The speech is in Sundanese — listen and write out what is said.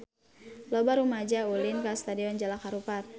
Loba rumaja ulin ka Stadion Jalak Harupat